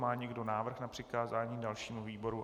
Má někdo návrh na přikázání dalšímu výboru?